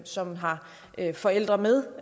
som har forældre med